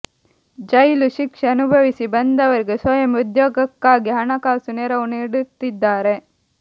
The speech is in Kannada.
ಜೈಲು ಶಿಕ್ಷೆ ಅನುಭವಿಸಿ ಬಂದವರಿಗೆ ಸ್ವಯಂ ಉದ್ಯೋಗಕ್ಕಾಗಿ ಹಣಕಾಸು ನೆರವು ನೀಡುತ್ತಿದ್ದಾರೆ